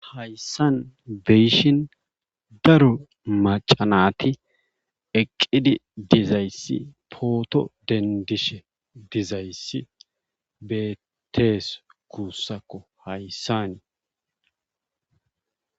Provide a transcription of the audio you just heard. hayssan be7ishin daro macca naati eqqidi dizayssi pooto denddishe dizayssi beettees guussako hayssani.